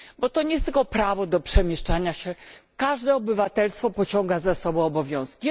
Bo to nie jest tylko prawo do przemieszczania się każde obywatelstwo pociąga za sobą obowiązki.